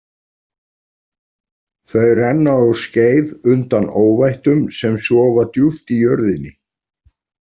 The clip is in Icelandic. Þau renna á skeið undan óvættum sem sofa djúpt í jörðinni.